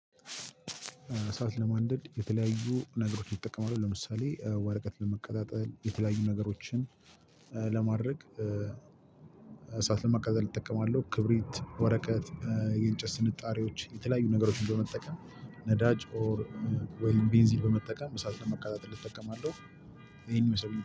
እሳት ለማንደድ የተለያዩ ነገሮች ይጠቀማሉ ለምሳሌ ወረቀት ለመቀጣጠል የተለያዩ ነገሮችን ለማድረግ እሳት ለማቃጠል እጠቀማለሁ ክብሪት፤ ወረቀት፤ የእንጨት ስንጣሪዎች የተለያዩ ነገሮች በመጠቀም ነዳጅ ኦር ወይም ቤንዚ በመጠቀም እሳት ለማቀጣጠል ልጠቀማለሁ። ይሄን የሰው